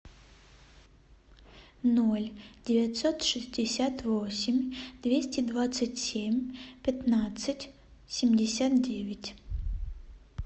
ноль девятьсот шестьдесят восемь двести двадцать семь пятнадцать семьдесят девять